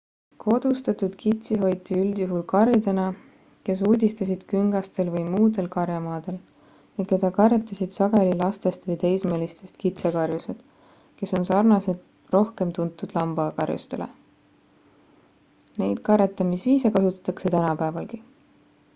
kodustatud kitsi hoiti üldjuhul karjadena kes uudistasid küngastel või muudel karjamaadel ja keda karjatasid sageli lastest või teismelistest kitsekarjused kes on sarnased rohkem tuntud lambakarjustele neid karjatamisviise kasutatakse tänapäevalgi